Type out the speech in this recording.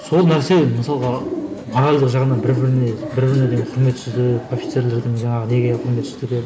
сол нәрсе мысалға моральдік жағынан бір біріне бір біріне деген құрметсіздік офицерлердің жаңағы неге құрметсіздігі